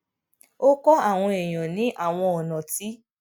ó kó àwọn èèyàn ní àwọn ònà tí